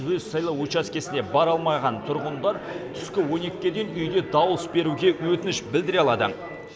өз сайлау учаскесіне бара алмаған тұрғындар түскі он екіге дейін үйде дауыс беруге өтініш білдіре алады